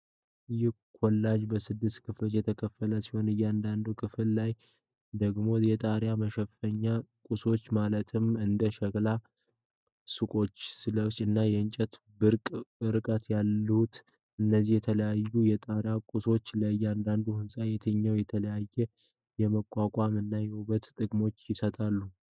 ይህ ኮላጅ በስድስት ክፍሎች የተከፈለ ሲሆን፣ በእያንዳንዱ ክፍል ላይ ደግሞ የጣሪያ መሸፈኛ ቁሶች ማለትም እንደ ሸክላ ሰቆችስሌት እና እንጨት በቅርብ ርቀት ይታያሉ፤ እነዚህ የተለያዩ የጣሪያ ቁሳቁሶች ለእያንዳንዱ ሕንፃ የትኞቹን የተለዩ የመቋቋም እና የውበት ጥቅሞችን ይሰጣሉ?